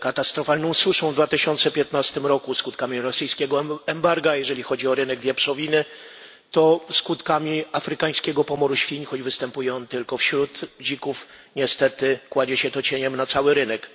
katastrofalną suszą w 2015 roku, skutkami rosyjskiego embarga, jeżeli chodzi o rynek wieprzowiny, to skutkami afrykańskiego pomoru świń, choć występuje on tylko wśród dzików, niestety kładzie się to cieniem na cały rynek.